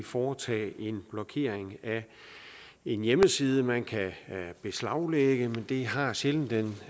foretage en blokering af en hjemmeside man kan beslaglægge men det har sjældent den